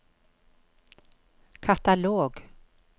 katalog